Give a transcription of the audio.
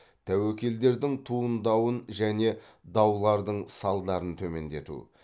тәуекелдердің туындауын және даулардың салдарын төмендету